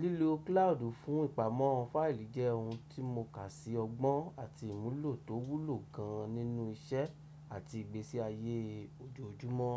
Lílo cloud fún ìpamọ́ fáìlì jẹ́ ohun tí mo kà sí ọgbọ́n àti ìmúlò tó wúlò gan nínú iṣẹ́ àti ìgbésí ayé ojoojúmọ́.